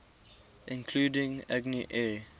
including agni air